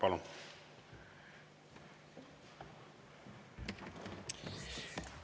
Palun!